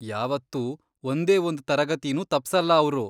ಯಾವತ್ತೂ ಒಂದೇ ಒಂದ್ ತರಗತಿನೂ ತಪ್ಸಲ್ಲ ಅವ್ರು.